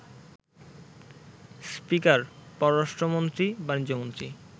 speaker, পররাষ্ট্রমন্ত্রী, বাণিজ্যমন্ত্রী,